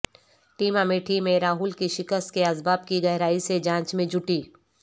team Amethi میں راہل کی شکست کے اسباب کی گہرائی سے جانچ میں جٹی